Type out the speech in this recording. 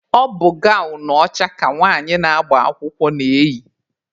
Ọ bụ gawnụ ọcha ka nwanyị na-agba akwụkwọ na-eyị.